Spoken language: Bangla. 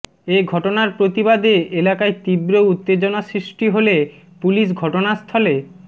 এ ঘটনার প্রতিবাদে এলাকায় তীব্র উত্তেজনা সৃষ্টি হলে পুলিশ ঘটনাস্থলে